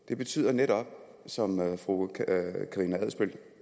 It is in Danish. det betyder netop som fru karina adsbøl